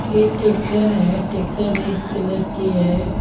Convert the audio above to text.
ये ट्रैक्टर है tractor red colour की है।